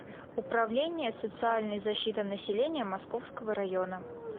управление социальной защиты населения московского района